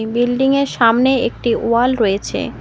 এই বিল্ডিংয়ের সামনে একটি ওয়াল রয়েছে।